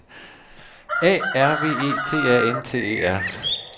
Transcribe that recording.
A R V E T A N T E R